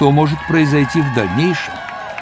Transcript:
то может произойти в дальнейшем